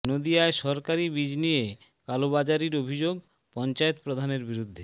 নদিয়ায় সরকারি বীজ নিয়ে কালোবাজারির অভিযোগ পঞ্চায়েত প্রধানের বিরুদ্ধে